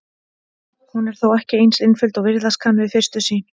Hún er þó ekki eins einföld og virðast kann við fyrstu sýn.